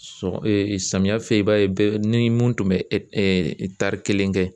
Sɔ samiya fɛ i b'a ye bɛɛ ni mun tun bɛ ɛ kelen kɛ.